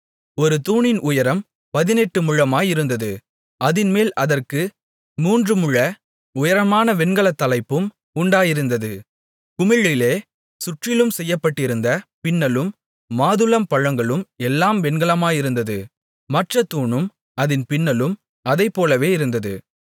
ஒரு தூணின் உயரம் பதினெட்டு முழமாயிருந்தது அதின்மேல் அதற்கு மூன்றுமுழ உயரமான வெண்கலத் தலைப்பும் உண்டாயிருந்தது குமிழிலே சுற்றிலும் செய்யப்பட்டிருந்த பின்னலும் மாதுளம்பழங்களும் எல்லாம் வெண்கலமாயிருந்தது மற்றத் தூணும் அதின் பின்னலும் அதைப்போலவே இருந்தது